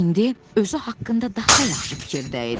İndi özü haqqında daha yaxşı fikirdə idi.